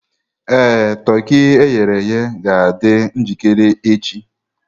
Ee, toki e ghere eghe ga-adị njikere echi.